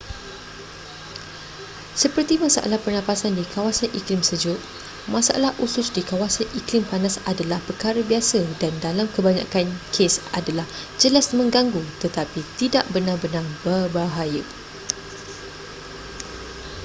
seperti masalah pernafasan di kawasan iklim sejuk masalah usus di kawasan iklim panas adalah perkara biasa dan dalam kebanyakan kes adalah jelas menggangu tetapi tidak benar-benar berbahaya